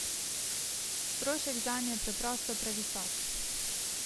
Strošek zanj je preprosto previsok.